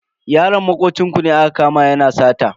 Yaron makocin ku ne aka kama yana sata.